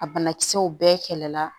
A banakisɛw bɛɛ kɛlɛ la